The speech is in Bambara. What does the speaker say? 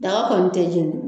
Daga kɔni tɛ jɛni.